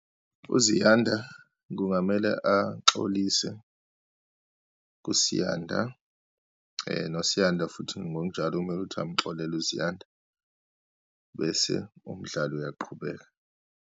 UZiyanda kungamele axolise kuSiyanda, noSiyanda futhi ngokunjalo kumele ukuthi amxolela uZiyanda, bese umdlalo uyaqhubeka.